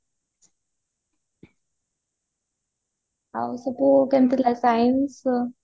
ଆଉ ସବୁ କେମିତି ଥିଲା science ଇଏ